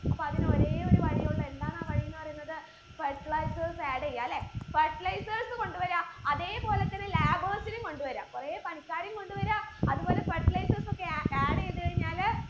അപ്പൊ അതിന് ഒരേ ഒരു വഴിയേ ഉള്ളു എന്താണ് ആ വഴി പറയുന്നത് fertilizers add ചെയ്യാല്ലെ fertilizers കൊണ്ട് വര അതേ പോലെ തന്നെ labours നെയും കൊണ്ട് വര കൊറേ പണിക്കാരെയും കൊണ്ട് വര അത് പോലെ fertilizers ഒക്കെ a add എയ്ത് കഴിഞ്ഞാല്